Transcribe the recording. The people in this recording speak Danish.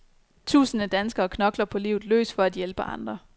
Tusinde danskere knokler på livet løs for at hjælpe andre.